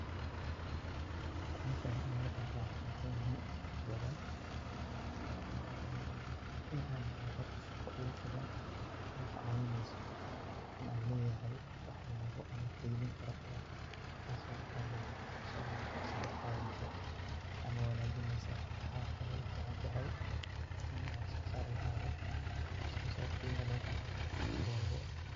Howshan in an kaqeb qaatan waxay muhiim utahay inta badan in an helo horta shaqa igu filan oo I caawineyso, in an leyahay wax yabo ama keydin fara badan taaso dhaqahaley sarey u qaadeysa ama wanajineysa ,waxa kale oy u fican tahay inan wax soo saar lahaado oo wax soo saarkey lugu qanci karo Mar walbo